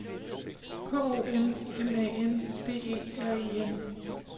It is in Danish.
K O M M A N D E R E N